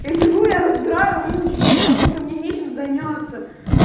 я сижу я разбираю ручки потому что мне нечем заняться